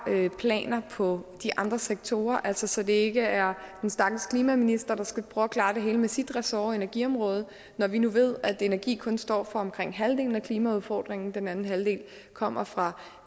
planer for de andre sektorer så så det ikke er den stakkels klimaminister der skal prøve at klare det hele med sit ressort energiområdet når vi nu ved at energi kun står for omkring halvdelen af klimaudfordringen den anden halvdel kommer fra